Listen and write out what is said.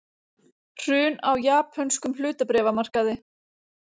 Hrun á japönskum hlutabréfamarkaði